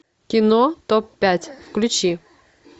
кино топ пять включи